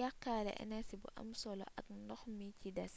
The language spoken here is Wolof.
yaqaale enersi bu am solo ak ndox mi ci des